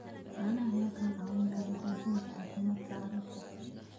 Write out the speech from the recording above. Caanaha ayaa kaa caawin kara xoojinta caafimaadka carruurta.